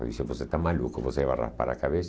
Ele disse, você está maluco, você vai raspar a cabeça?